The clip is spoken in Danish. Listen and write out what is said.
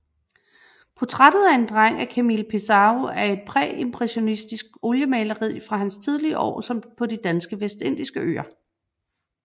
Portrættet af en dreng af Camille Pissarro er et præimpressionistisk oliemaleri fra hans tidlige år på de danske vestindiske øer